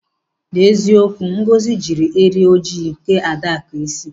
N'eziokwu Ngozi jiri eri ojii kee Adaku isi.